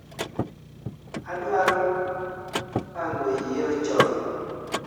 adwaro pango yiero chon